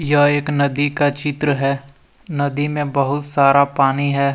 यह एक नदी का चित्र है नदी में बहुत सारा पानी है।